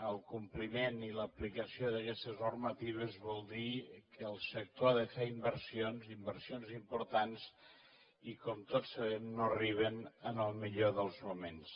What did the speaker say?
el compliment i l’aplicació d’aquestes normatives vol dir que el sector ha de fer inversions inversions importants i com tots sabem no arriben en el millor dels moments